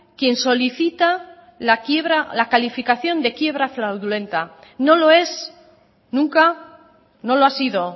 quien solicita la quiebra la calificación de quiebra fraudulenta no lo es nunca no lo ha sido